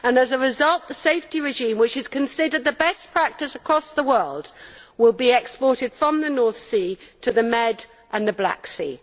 As a result, the safety regime, which is considered the best practice across the world, will be exported from the North Sea to the Mediterranean and the Black Sea.